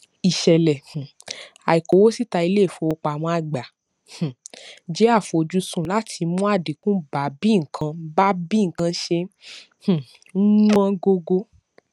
ìṣẹlẹ um àìkówósíta iléìfowópamọ àgbà um jẹ àfojúsùn láti mú àdínkù bá bí nǹkan bá bí nǹkan ṣe um ń wọn gógó